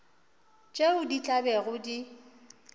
tšeo di tla bego di